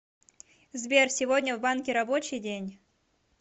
сбер сегодня в банке рабочий день